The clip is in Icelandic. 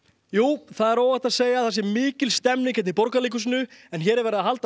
já það óhætt að segja að það sé mikil stemning hérna í Borgarleikhúsinu en hér verið að halda